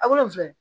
A wolonvila in